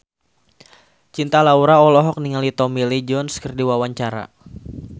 Cinta Laura olohok ningali Tommy Lee Jones keur diwawancara